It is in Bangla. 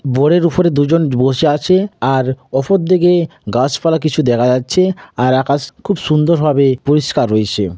বোড়ের উপরে দুজন বসে আছে আর ওপর দিকে গাছপালা কিছু দেখা যাচ্ছে আর আকাশ খুব সুন্দর ভাবে পরিষ্কার রয়েছে।